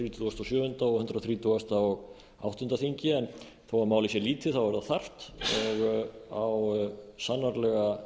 þrítugasta og sjöunda og hundrað þrítugasta og áttunda þingi en þó að málið sé lítið þá er það þarft og á sannarlega